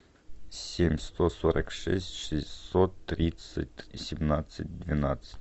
семь сто сорок шесть шестьсот тридцать семнадцать двенадцать